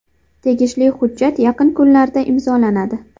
Tegishli hujjat yaqin kunlarda imzolanadi.